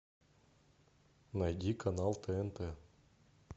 найди канал тнт